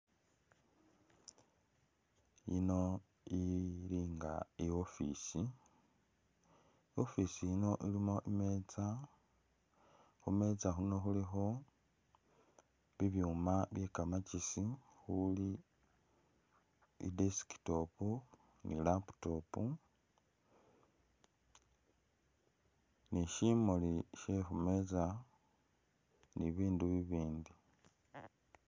Yino ili nga i'office office yino ilimo imeza, khumeza khuno khulikho bibyuuma byekamakesi khuli i'desktop ni laptop ni shimuli shekhumeza ni bibindu bibindi